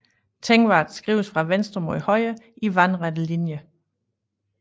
Tengwar skrives fra venstre mod højre i vandrette linjer